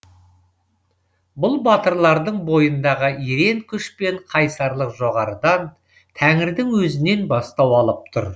бұл батырлардың бойындағы ерен күш пен қайсарлық жоғарғыдан тәңірдің өзінен бастау алып тұр